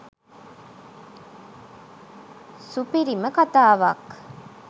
සුපිරිම කතාවක්.